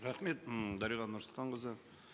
рахмет м дариға нұрсұлтанқызы